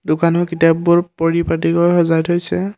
দোকানৰ কিতাপবোৰ পৰিপাটিকৈ সজাই থৈছে।